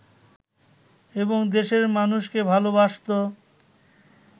এবং দেশের মানুষকে ভালবাসত